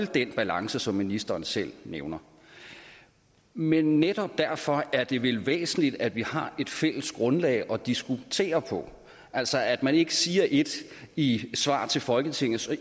den balance som ministeren selv nævner men netop derfor er det vel væsentligt at vi har et fælles grundlag at diskutere på altså at man ikke siger ét i et svar til folketinget